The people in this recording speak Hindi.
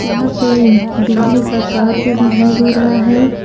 यहां पे बिजली का तार भी दिखाई दे रहा है।